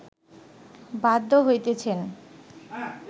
বাধ্য হইতেছেন